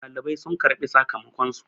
dalibai sun karɓi sakamakonsu